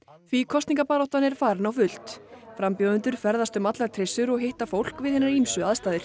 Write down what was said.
því kosningabaráttan er farin á fullt frambjóðendur ferðast um allar trissur og hitta fólk kjósendur við hinar ýmsu aðstæður